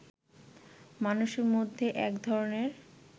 মানুষের মধ্যে একধরনের